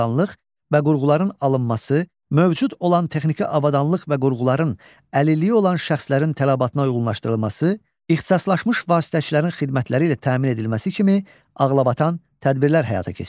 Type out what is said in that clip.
mövcud olan texniki avadanlıq və qurğuların əlilliyi olan şəxslərin tələbatına uyğunlaşdırılması, ixtisaslaşmış vasitəçilərin xidmətləri ilə təmin edilməsi kimi ağlabatan tədbirlər həyata keçirir.